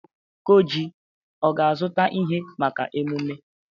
Okoji ga-azụta ihe maka emume?